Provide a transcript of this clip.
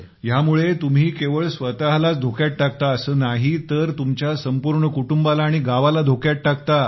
ह्यामुळे तुम्ही स्वत लाच केवळ धोक्यात टाकता असे नाही तर तुमच्या संपूर्ण कुटुंबाला आणि गावाला धोक्यात टाकता